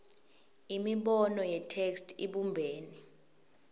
imibono yetheksthi ibumbene